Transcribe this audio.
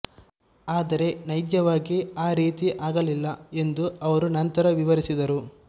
ಆದರೆ ನೈಜವಾಗಿ ಆ ರೀತಿ ಆಗಲಿಲ್ಲ ಎಂದು ಅವರು ನಂತರ ವಿವರಿಸಿದರು